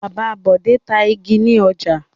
Bàbá Bọ̀dé ń ta igi ní ọjà.